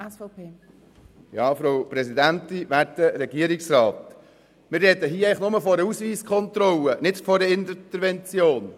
Wir sprechen hier eigentlich nur von einer Ausweiskontrolle, nicht von einer Intervention.